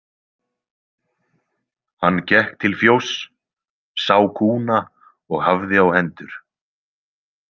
Hann gekk til fjóss, sá kúna og hafði á hendur.